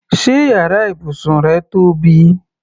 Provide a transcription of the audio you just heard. Ṣé yàrá ibùsùn rẹ tóbi?